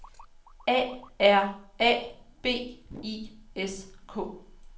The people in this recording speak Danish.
A R A B I S K